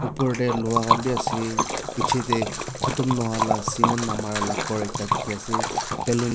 opor te loha khan bi ase piche te khotom nahoi la cement namare la ghor ekta dikhi ase balloon --